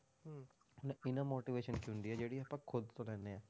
Inner inner motivation ਕੀ ਹੁੰਦੀ ਹੈ ਜਿਹੜੀ ਆਪਾਂ ਖੁੱਦ ਤੋਂ ਲੈਂਦੇ ਹਾਂ,